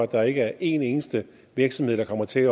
der ikke er en eneste virksomhed der kommer til